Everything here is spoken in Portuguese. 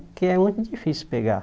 Porque é muito difícil pegar.